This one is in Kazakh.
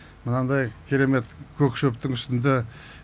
мынадай керемет көк шөптің үстінде